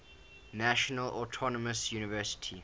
national autonomous university